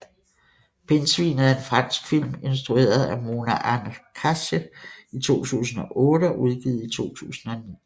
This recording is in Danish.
Pindsvinet er en fransk film instrueret af Mona Achache i 2008 og udgivet i 2009